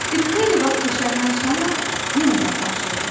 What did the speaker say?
Bir xeyli vaxt keçəndən sonra yenə qapı açıldı.